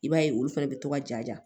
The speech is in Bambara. I b'a ye olu fɛnɛ bɛ to ka ja